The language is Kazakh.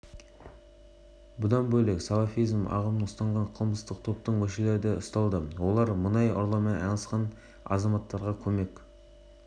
бүгін гумилев атындағы еуразия ұлттық университетінде астана тәуелсіздік тұғыры веб-деректі жобасының тұсаукесері өтеді шара барысында болашақ